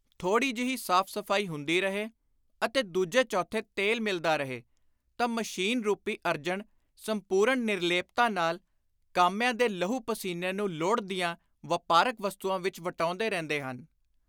ਥੋੜ੍ਹੀ ਜਿਹੀ ਸਾਫ਼-ਸਫ਼ਾਈ ਹੁੰਦੀ ਰਹੇ ਅਤੇ ਦੁਜੇ ਚੌਥੇ ਤੇਲ ਮਿਲਦਾ ਰਹੇ ਤਾਂ ਮਸ਼ੀਨ ਰੁਪੀ ਅਰਜਨ ਸੰਪੁਰਣ ਨਿਰਲੇਪਤਾ ਨਾਲ ਕਾਮਿਆਂ ਦੇ ਲਹੂ-ਪਸੀਨੇ ਨੂੰ ਲੋੜ ਦੀਆਂ ਵਾਪਾਰਕ ਵਸਤੁਆਂ ਵਿਚ ਵਟਾਉਂਦੇ ਰਹਿੰਦੇ ਹਨ।